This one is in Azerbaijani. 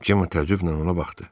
Cemma təəccüblə ona baxdı.